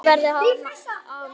Að líf mitt verði verra án hans.